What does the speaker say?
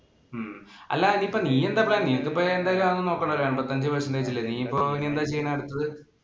ഉം അല്ലാ ഇനി നീ ഇപ്പം നീ എന്താ plan. നിനക്കിപ്പം എന്തായാലും അതൊന്നും നോക്കണ്ടല്ലോ. നിനക്ക് എമ്പത്തഞ്ചു percentage ഇല്ലേ? നീ ഇപ്പം ഇനി എന്താ ചെയ്യണേ അടുത്തത്.